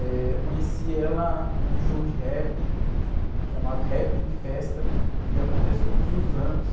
Eh, eu conheci ela num show de rap, chamado Rap em Festa, que acontece todos os anos.